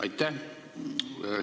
Aitäh!